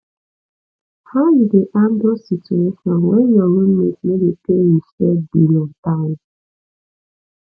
how you dey handle situation when your roommate no dey pay im shared bill on time